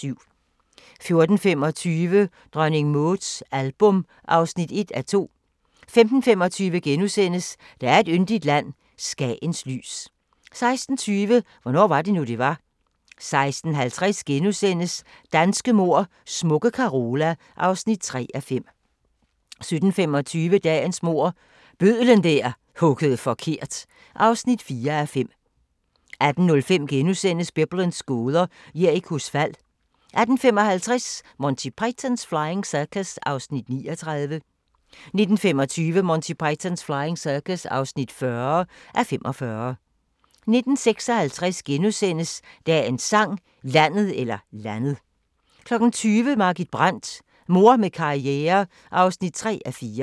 14:25: Dronning Mauds album (1:2) 15:25: Der er et yndigt land – Skagens lys * 16:20: Hvornår var det nu, det var? 16:50: Danske mord: Smukke Carola (3:5)* 17:25: Danske mord – Bødlen der huggede forkert (4:5) 18:05: Biblens gåder – Jerikos fald * 18:55: Monty Python's Flying Circus (39:45) 19:25: Monty Python's Flying Circus (40:45) 19:56: Dagens Sang: Landet * 20:00: Margit Brandt – Mor med karriere (3:4)